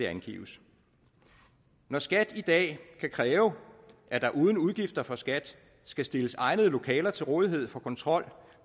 angives når skat i dag kan kræve at der uden udgifter for skat skal stilles egnede lokaler til rådighed for kontrol